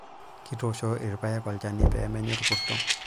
Kitoosho ilpayek olchani pee menya olkurto.